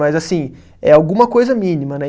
Mas assim, é alguma coisa mínima, né?